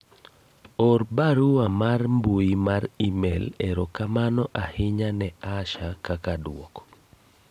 or barua mar mbui mar email erokamano ahinya ne Asha kaka dwoko